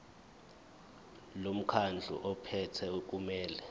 lomkhandlu ophethe kumele